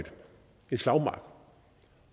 slagmark